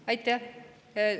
Aitäh!